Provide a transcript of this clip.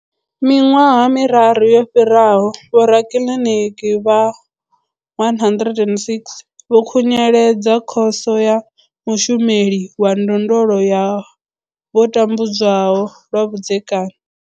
Miṅwaha miraru yo fhiraho, vhorakiliniki vha 106 vho khunyeledza Khoso ya mushumeli wa ndondolo ya vho tambudzwaho lwa vhudzekani.